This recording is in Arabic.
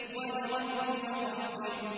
وَلِرَبِّكَ فَاصْبِرْ